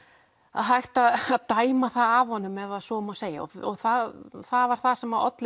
hægt að dæma það af honum ef svo má segja og það það var það sem olli